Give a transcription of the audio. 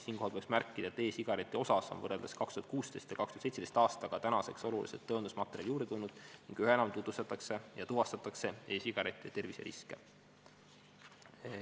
Siinkohal peaks märkima, et e-sigareti kohta on võrreldes 2016. või 2017. aastaga tänaseks oluliselt tõendusmaterjali juurde tulnud ning üha enam tutvustatakse ja tuvastatakse e-sigarettidest põhjustatud terviseriske.